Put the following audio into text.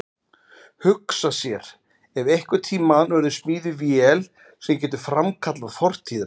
Hugsa sér ef einhvern tíma verður smíðuð vél sem getur framkallað fortíðina.